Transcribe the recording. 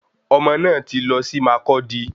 Omo náà tí lọ sí Mákọdi